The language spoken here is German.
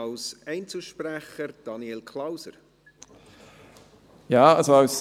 Als Einzelsprecher hat Daniel Klauser das Wort.